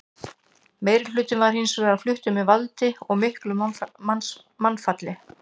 Meirihlutinn var hins vegar fluttur með valdi og miklu mannfalli.